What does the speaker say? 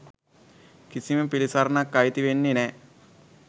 කිසිම පිළිසරණක් අයිති වෙන්නේ නෑ